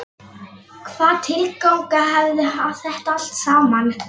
Hvaða tilgang hafði þetta allt saman?